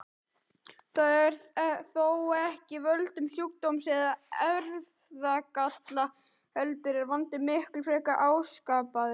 Það er þó ekki af völdum sjúkdóms eða erfðagalla heldur er vandinn miklu frekar áskapaður.